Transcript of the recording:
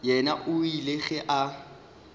yena o ile ge a